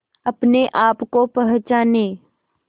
अपने आप को पहचाने